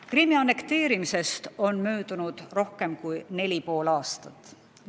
Krimmi annekteerimisest on möödunud rohkem kui neli ja pool aastat.